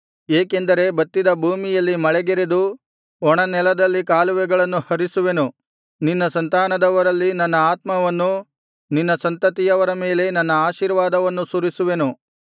ಏಕೆಂದರೆ ಬತ್ತಿದ ಭೂಮಿಯಲ್ಲಿ ಮಳೆಗರೆದು ಒಣನೆಲದಲ್ಲಿ ಕಾಲುವೆಗಳನ್ನು ಹರಿಸುವೆನು ನಿನ್ನ ಸಂತಾನದವರಲ್ಲಿ ನನ್ನ ಆತ್ಮವನ್ನು ನಿನ್ನ ಸಂತತಿಯವರ ಮೇಲೆ ನನ್ನ ಆಶೀರ್ವಾದವನ್ನು ಸುರಿಸುವೆನು